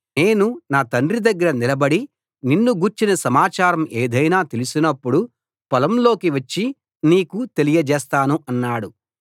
నేను నా తండ్రి దగ్గర నిలబడి నిన్ను గూర్చిన సమాచారం ఏదైనా తెలిసినప్పుడు పొలంలోకి వచ్చి నీకు తెలియచేస్తాను అన్నాడు